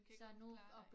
Kan godt klare dig